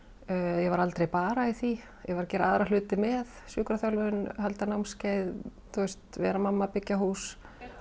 ég var aldrei bara í því ég var að gera aðra hluti með sjúkraþjálfun halda námskeið vera mamma byggja hús